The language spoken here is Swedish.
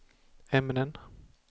ämnen